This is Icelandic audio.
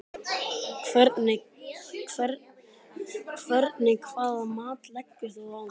Hvernig hvaða mat leggur þú á það?